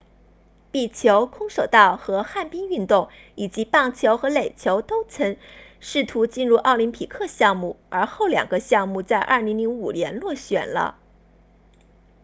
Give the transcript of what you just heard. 壁球空手道和旱冰运动以及棒球和垒球都曾试图进入奥林匹克项目而后两个项目在2005年落选了